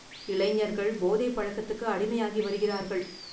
இளைஞர்கள் போதைப் பழக்கத்துக்கு அடிமையாகி வருகிறார்கள்.